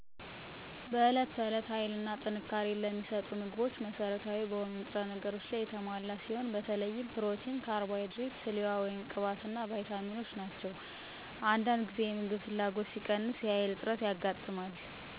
በዕት ተዕለት ሀይልና ጥንካሬን ለሚሰጡ ምግቦች መሠረታዊ በሆኑ ንጥረ ነገሮች ላይ የተሞላ ሲሆን በተለይም ፕሮቲን ካርቦሃይድሬት ስሌዋ(ቅባት) እና ባይታሚኖች ናቸው። ከእያንዳንዱ የሚሰጠኝ ሐይል ሰጭ ምግብ በቆሎ ስንዴ ተፈጥሮዊ ፕሮቲን ፍራፍሬና ቡና ናቸው። አንዳድ ጊዜ የምግብ ፍላጎት ሲቀንስ የሐይል እጥረት ያጋጥማል።